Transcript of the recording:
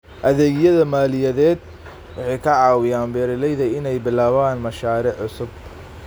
Adeegyada maaliyadeed waxay ka caawiyaan beeralayda inay bilaabaan mashaariic cusub.